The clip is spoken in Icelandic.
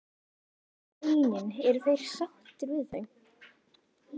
En hvað með launin, eru þeir sáttir við þau?